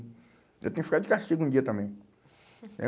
Eu tenho que ficar de castigo um dia também.